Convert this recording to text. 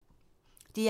DR1